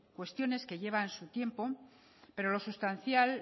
cuestiones que llevan su tiempo pero lo sustancial